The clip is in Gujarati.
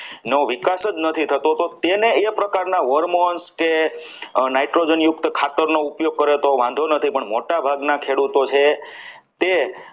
નો વિકાસ જ નથી થતો તો તેને તે પ્રકારના hormones છે nitrogen યુક્ત ખાતરનો ઉપયોગ કર્યો તો વાંધો નથી પણ મોટાભાગના ખેડૂતો છે. તે